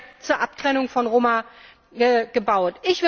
14. zur Abtrennung von Roma gebaut.